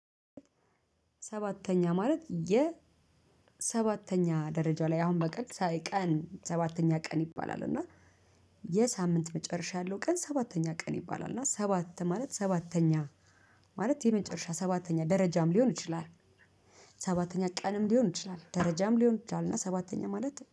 ሰባተኛ ማለት የሰባተኛ ደረጃ ላይ አሁን በቀን ሳይ ቀን ሰባተኛ ቀን ይባላል እና የሳምንት መጨረሻ ያለው ቀን ሰባተኛ ቀን ይባላል እና ሰባት ማለት ሰባተኛ ማለት የመጨረሻ ሰባተኛ ደረጃም ሊሆን ይችላል። ሰባተኛ ቀንም ሊሆን ይችላል ደረጃም ሊሆን ይችላል እና ሰባተኛ ማለት